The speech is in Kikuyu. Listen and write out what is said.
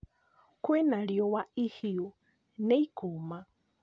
Kwĩna riũa ihiũ nĩ ikũma